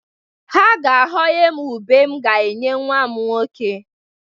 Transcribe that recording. Ha ga-aghọnye m ube m ga-enye nwa m nwoke.